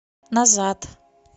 назад